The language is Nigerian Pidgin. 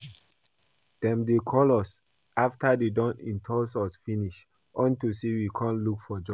Dem dey call us after dey don insult us finish unto say we come look for job